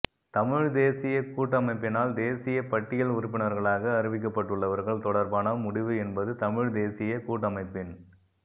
தமிழ்த்தேசிய கூட்டமைப்பினால் தேசிய பட்டியல் உறுப்பினர்களாக அறிவிக்கப்பட்டுள்ளவர்கள் தொடர்பான முடிவு என்பது தமிழ்த்தேசிய கூட்டமைப்பின்